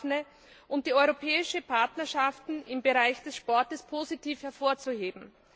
Daphne und die Europäischen Partnerschaften im Bereich des Sports positiv hervorzuheben.